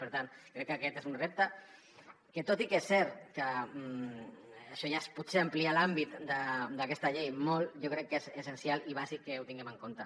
per tant crec que aquest és un repte que tot i que és cert que això ja és potser ampliar l’àmbit d’aquesta llei molt jo crec que és essencial i bàsic que ho tinguem en compte